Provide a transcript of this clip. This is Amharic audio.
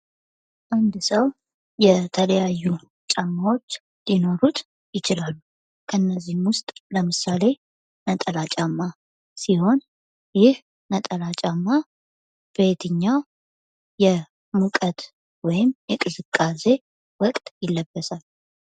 አንድ ሰው የተለያዩ ጫማዎች ሊኖሩት ይችላሉ። ለነዚህም ውስጥ ለምሳሌ ነጠላ ጫማ ሲሆን ይህ ነጠላ ጫማ በየትኛው የሙቀት ወይም የቅዝቃዜ ወቅት ይለበሳል?